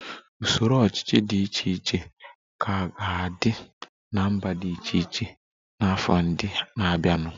Usoro ọchịchị dị iche iche ka ga-adị na mba dị iche iche n'afọ ndị na-abịanụ